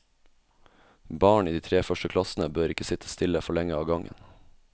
Barn i de tre første klassene bør ikke sitte stille for lenge av gangen.